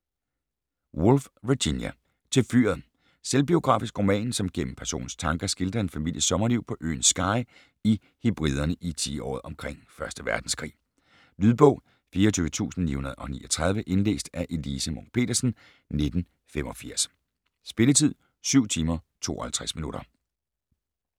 Woolf, Virginia: Til fyret Selvbiografisk roman, som gennem personernes tanker skildrer en families sommerliv på øen Skye i Hebriderne i tiåret omkring 1. verdenskrig. Lydbog 24939 Indlæst af Elise Munch-Petersen, 1985. Spilletid: 7 timer, 52 minutter.